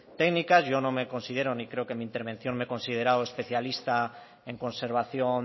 técnicas yo no me considero ni creo que en mi intervención me he considerado especialista en conservación